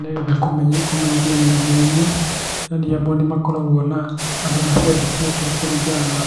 Nĩ ũndũ kũmenyithania mwene yaani amwe nĩ makoragwo na handũ maciandĩkĩte kũringana